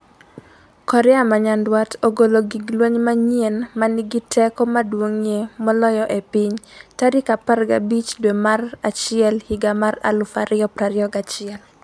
Korea ma Nyanduat ogolo gig lweny manyien 'ma nigi teko maduong'ie moloyo e piny' tarik 15 dwe mar achiel higa mar 2021